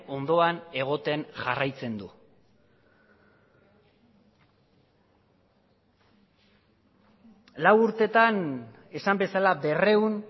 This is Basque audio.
ondoan egoten jarraitzen du lau urteetan esan bezala berrehun